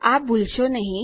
આ ભૂલશો નહી